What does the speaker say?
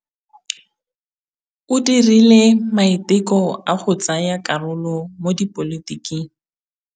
O dirile maitekô a go tsaya karolo mo dipolotiking.